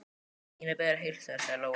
Ína biður að heilsa þér, sagði Lóa.